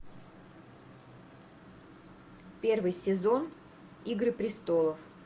первый сезон игры престолов